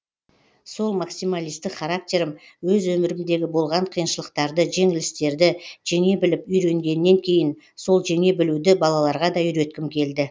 сол максималистік характерім өз өмірімдегі болған қиыншылықтарды жеңілістерді жеңе біліп үйренгеннен кейін сол жеңе білуді балаларға да үйреткім келді